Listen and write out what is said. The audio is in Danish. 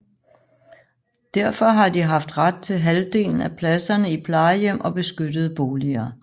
Derfor har de haft ret til halvdelen af pladserne i plejehjem og beskyttede boliger